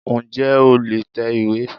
N jẹ́ o lè tẹ ìwé